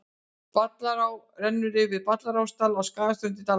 Ballará rennur eftir Ballarárdal á Skarðsströnd í Dalasýslu.